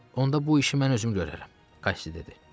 Onda bu işi mən özüm görərəm, Qassi dedi.